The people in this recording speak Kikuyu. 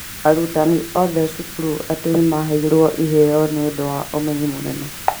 Arutani othe cukuru itu nĩ maheirwo iheo nĩũndũ wa umenyi mũnene